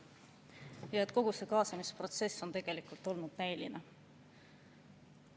Nii et kogu see kaasamisprotsess on olnud näiline.